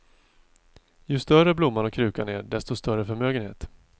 Ju större blomman och krukan är desto större förmögenhet.